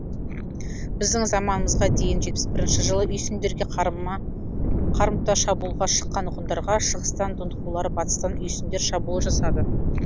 біздің заманымызға дейін жетпіс бірінші жылы үйсіндерге қарымта шабуылға шыққан ғұндарға шығыстан дунхулар батыстан үйсіндер шабуыл жасады